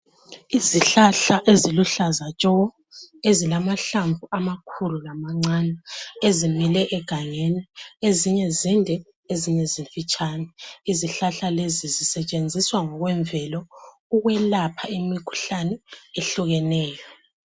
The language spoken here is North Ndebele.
Izihlahla eziluhlaza tshoko ezilamahlamvu amakhulu lamancane, ezimile egangeni. Ezinye zinde, ezinye zimfitshane. Izihlahla lezi zisetshenziswa ngokwemvelo ukwelapha imikhuhlani ehlukeneyo.